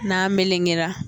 N'an melengera